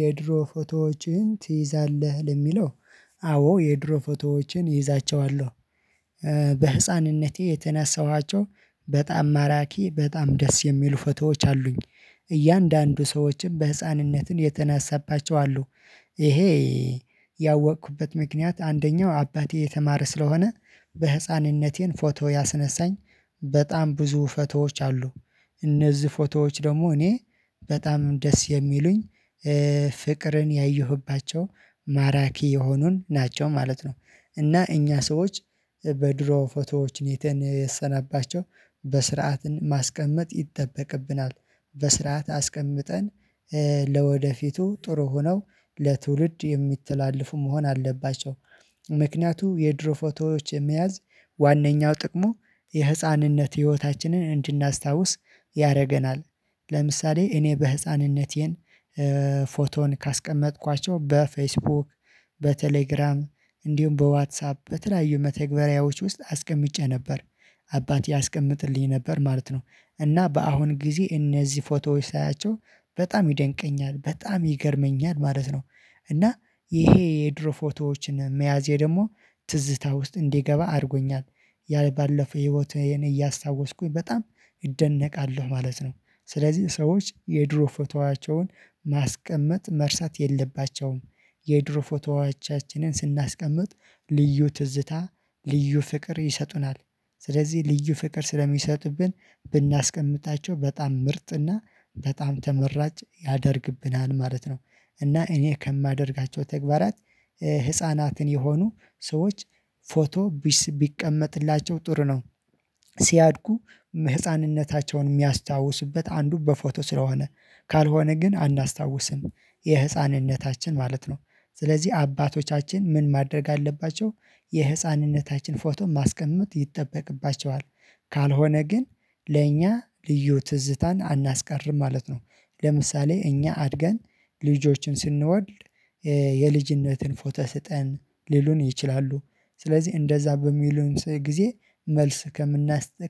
የድሮ ፎቶዎቼን ትይዛለህ ለሚለው? አዎ የድሮ ፎቶዎቼን እይዛቸዋለሁ። በህፃንነቴ የተነሳኋቸው በጣም ማራኪ በጣም ደስ የሚሉ ፎቶዎች አሉኝ እያንዳንዱ ሰዎችን በህፃንነትን የተነሳባቸው አሉ። ይሄ ያወቅኩበት ምክንያት አንደኛው አባቴ የተማረ ስለሆነ በህፃንነቴም ፎቶ ያስነሳኝ በጣም ብዙ ፎቶዎች አሉ እነዚህ ፎቶዎች ደግሞ እኔ በጣም ደስ የሚሉኝ ፍቅርን ያየሁባቸው ማራኪ የሆኑን ናቸው ማለት ነው። እና እኛ ሰዎች በድሮ ፎቶዎች ኔተን የሰናባቸው በስርዓት ማስቀመጥ ይጠበቅብናል በስርዓት አስቀምጠን ለወደፊቱ ጥሩ ሆነው ለትውልድ የሚተላለፉ መሆን አለባቸው። ምክንያቱም የድሮ ፎቶዎች የመያዝ ዋናኛው ጥቅሙ የህፃንነት ህይወታችንን እንድናስታውስ ያደርገናል። ለምሳሌ እኔ በህፃንነቴን ፎቶን ካስቀመጥኳቸው በፌስቡክ በቴሌግራም እንዲሁም በዋትሳፕ በተለያዩ መተግበሪያዎች ውስጥ አስቀምጬ ነበር አባቴ ያስቀምጥልኝ ነበር ማለት ነው። እና በአሁን ጊዜ እነዚህ ፎቶዎች ሳያቸው በጣም ይደንቀኛል በጣም ይገርመኛል ማለት ነው። እና ይሄ የድሮ ፎቶዎችን መያዜ ደግሞ ትዝታ ውስጥ እንዲገባ አድርጎኛል ያ ባለፈ ህይወት የኔ እያስታወስኩኝ በጣም እደነቃለሁ ማለት ነው። ስለዚህ ሰዎች የድሮ ፎቶአቸውን ማስቀመጥ መርሳት የለባቸውም። የድሮ ፎቶዋቻችንን ስናስቀምጥ ልዩ ትዝታ ልዩ ፍቅር ይሰጡናል ስለዚህ ልዩ ፍቅር ስለሚሰጡብን ብናስቀምጣቸው በጣም ምርጥና በጣም ተመራጭ ያደርግብናል ማለት ነው። እና እኔ ከማደርጋቸው ተግባራት ህፃናትን የሆኑ ሰዎች ፎቶ ቢቀመጥላቸው ጥሩ ነው። ሲያድጉ ህፃንነታቸውን የሚያስታውሱበት አንዱ በፎቶ ስለሆነ ካልሆነ ግን አናስታውስም የህፃንነታችን ማለት ነው። ስለዚህ አባቶቻችን ምን ማድረግ አለባቸው? የህፃንነታችን ፎቶ ማስቀመጥ ይጠበቅባቸዋል ካልሆነ ግን ለእኛ ልዩ ትዝታን አናስቀርም ማለት ነው። ለምሳሌ እኛ አድገን ልጆችን ስንወድ የልጅነትን ፎተ ስጠን ሊሉን ይችላሉ ስለዚህ እንደዛ በሚሉን ጊዜ መልስ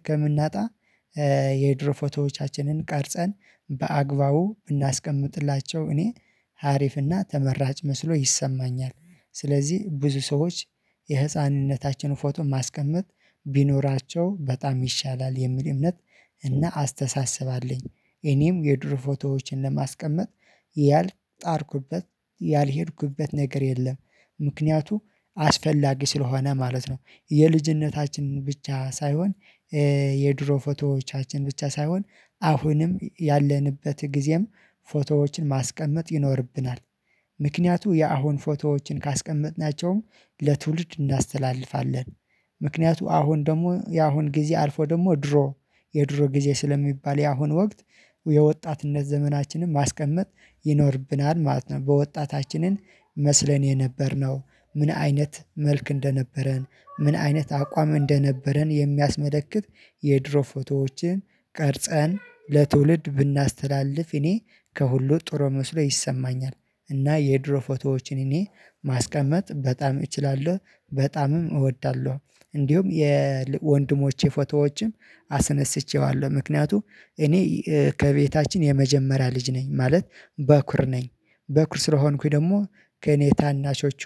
ከምናጣ የድሮ ፎቶዎቻችንን ቀርጸን በአግባቡ ብናስቀምጥላቸው እኔ ሀሪፍና ተመራጭ መስሎ ይሰማኛል። ስለዚህ ብዙ ሰዎች የህፃንነታችን ፎቶ ማስቀመጥ ቢኖራቸው በጣም ይሻላል የሚል እምነት እና አስተሳሰብ አለኝ። እኔም የድሮ ፎቶዎችን ለማስቀመጥ ያልጣርኩበት ያልሄድኩበት ነገር የለም። ምክንያቱ አስፈላጊ ስለሆነ ማለት ነው። የልጅነታችን ብቻ ሳይሆን የድሮ ፎቶዎቻችን ብቻ ሳይሆን አሁንም ያለንበት ጊዜም ፎቶዎችን ማስቀመጥ ይኖርብናል። ምክንያቱ የአሁን ፎቶዎችን ካስቀመጥናቸውም ለትውልድ እናስተላልፋለን። ምክንያቱ አሁን ደግሞ የአሁን ጊዜ አልፎ ደግሞ ድሮ የድሮ ጊዜ ስለሚባል የአሁን ወቅት የወጣትነት ዘመናችንን ማስቀመጥ ይኖርብናል ማለት ነው። በወጣታችንን መስለን የነበርነው ምን አይነት መልክ እንደነበረን ምን አይነት አቋም እንደነበረን የሚያስመለክት የድሮ ፎቶዎችን ቀርጸን ለትውልድ ብናስተላልፍ እኔ ከሁሉ ጥሮ መስሎ ይሰማኛል። እና የድሮ ፎቶዎችን እኔ ማስቀመጥ በጣም እችላለሁ በጣምም እወዳለሁ። እንዲሁም የወንድሞቼ ፎቶዎችም አስነስቼዋለሁ ምክንያቱም እኔ ከቤታችን የመጀመሪያ ልጅ ነኝ ማለት በኩር ነኝ። በኩር ስለሆንኩኝ ደግሞ ከእኔ ታናሾቹ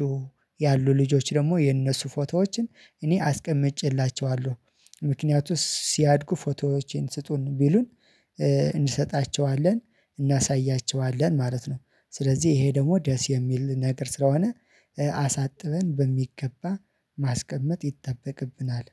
ያሉ ልጆች ደግሞ የነሱ ፎቶዎችን እኔ አስቀምጬላቸዋለሁ ምክንያቱም ሲያድጉ ፎቶዎቼን ስጡን ቢሉን እንሰጣቸዋለን እናሳያቸዋለን ማለት ነው። ስለዚህ ይሄ ደግሞ ደስ የሚል ነገር ስለሆነ አሳጥበን በሚገባ ማስቀመጥ ይጠበቅብናል።